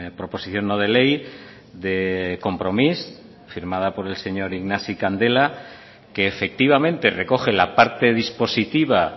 proposición no de ley de compromís firmada por el señor ignasi candela que efectivamente recoge la parte dispositiva